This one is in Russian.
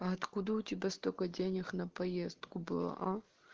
а откуда у тебя столько денег на поездку было а